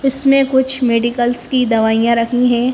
इसमें कुछ मेडिकल्स की दवाइयां रखी हैं।